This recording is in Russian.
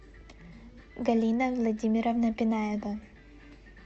галина владимировна бинаева